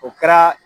O kɛra